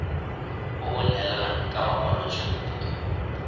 o o neelanang ka makwalotshupo